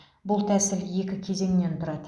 бұл тәсіл екі кезеңнен тұрады